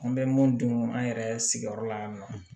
An bɛ mun dun an yɛrɛ sigiyɔrɔ la yan nɔ